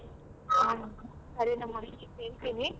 ಹ ಸರಿನಮ್ಮ ಆಯ್ತು ಕೇಳ್ತೀನಿ.